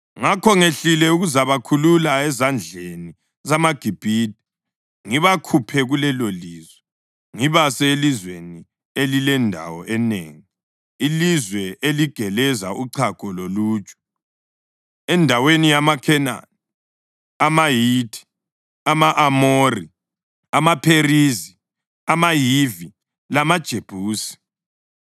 Ngakho ngehlile ukuzabakhulula ezandleni zamaGibhithe ngibakhuphe kulelolizwe ngibase elizweni elilendawo enengi, ilizwe eligeleza uchago loluju, endaweni yamaKhenani, amaHithi, ama-Amori, amaPherizi, amaHivi lamaJebusi.